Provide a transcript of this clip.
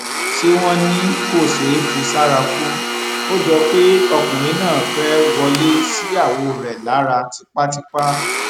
ṣé wọn ní kò ṣeé fi sára kù ó jọ pé ọkùnrin náà fẹẹ wọlé síyàwó rẹ lára tipátipá